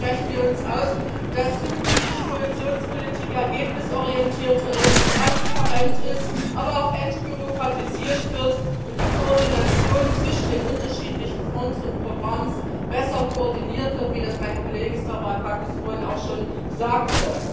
Deswegen sprechen wir uns dafür aus, dass zukünftig Kohäsionspolitik ergebnisorientierter und transparent ist, aber auch entbürokratisiert wird, und die Koordination zwischen den unterschiedlichen Fonds und Programmen besser koordiniert wird, wie das mein Kollege Stavrakakis vorhin auch schon sagte.